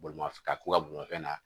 Bolimafɛn ka k'u ka bolimafɛn na